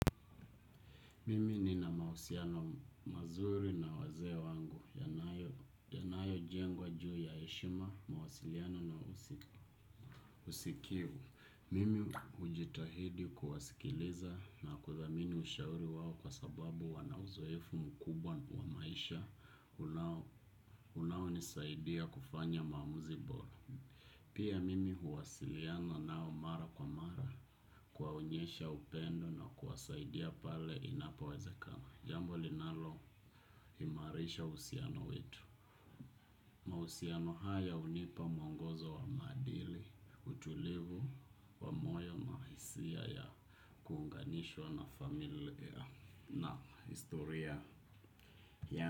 Mimi ni na mausiano mazuri na waze wangu, yanayo jengwa juu ya eshima, mawasiliano na usikivu. Mimi ujitahidi kuwasikiliza na kuthamini ushauri wawo kwa sababu wanauzoefu mkubwa wa maisha unawoni saidia kufanya mamuzi bora. Pia mimi huwasiliana nao mara kwa mara kwa unyesha upendo na kuwasaidia pale inapoweza kana. Jambo linalo imarisha usiano wetu. Mausiano haya unipa mongozo wa madili. Utulivu wa moyo mahasia ya kuunganishwa na familia na historia.